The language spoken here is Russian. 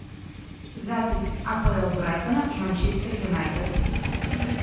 запись апл брайтона и манчестер юнайтед